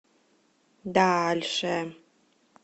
дальше